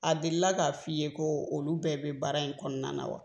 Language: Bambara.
A delila k'a f'i ye ko olu bɛɛ bɛ baara in kɔnɔna na wa?